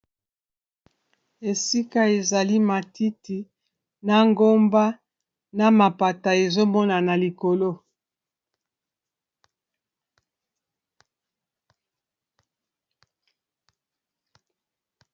Esika ezali matiti na ngomba na mapata ezomona na likolo.